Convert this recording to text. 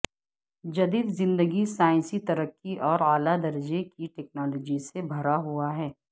جدید زندگی سائنسی ترقی اور اعلی درجے کی ٹیکنالوجی سے بھرا ہوا ہے